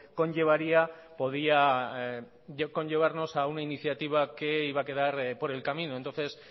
conllevaría podía conllevarnos a una iniciativa que iba a quedar por el camino entonces